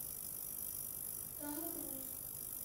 том круз